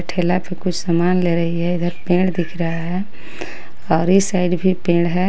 ठेला पे कुछ सामान ले रही है इधर पेड़ दिख रहा है और इस साइड भी पेड़ है.